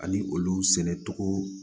Hali olu sɛnɛcogo